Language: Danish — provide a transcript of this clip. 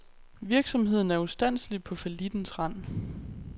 Virksomheden er ustandselig på fallittens rand.